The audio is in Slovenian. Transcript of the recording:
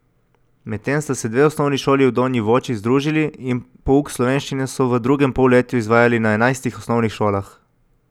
Medtem sta se dve osnovni šoli v Donji Voći združili in pouk slovenščine so v drugem polletju izvajali na enajstih osnovnih šolah.